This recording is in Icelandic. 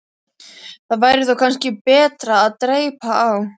Það væri þó kannski betra að dreypa á.